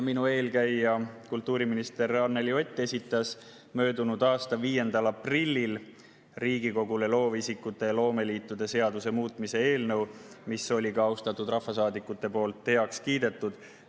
Minu eelkäija, kultuuriminister Anneli Ott, esitas möödunud aasta 5. aprillil Riigikogule loovisikute ja loomeliitude seaduse muutmise seaduse eelnõu, mis sai ka austatud rahvasaadikute poolt heaks kiidetud.